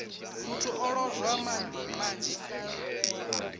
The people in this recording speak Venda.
muthu o lozwa madi manzhi